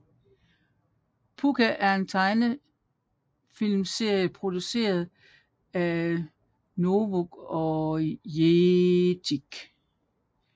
Pucca er en tegnefilmserie produceret af Vooz og Jetix